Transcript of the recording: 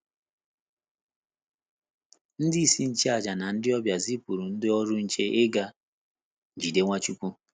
Ndị isi nchụàjà na ndị ọbịa zipụrụ ndị ọrụ nche ịga jide Nwachukwu.